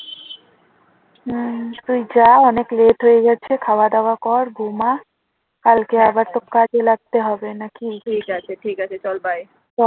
হম তুই যা অনেক late হয়ে গেছে খাওয়া-দাওয়া কর ঘুমা। কালকে আবার তো কাজে লাগতে হবে তো নাকি